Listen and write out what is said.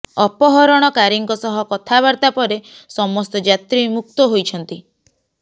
ଅପହରଣକାରୀଙ୍କ ସହ କଥାବାର୍ତ୍ତା ପରେ ସମସ୍ତ ଯାତ୍ରୀ ମୁକ୍ତ ହୋଇଛନ୍ତି